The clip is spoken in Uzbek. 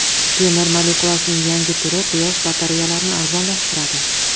Temir molekulasining yangi turi Quyosh batareyalarni arzonlashtiradi.